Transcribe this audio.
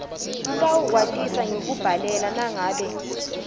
utawukwatisa ngekukubhalela nangabe